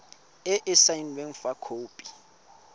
e e saenweng fa khopi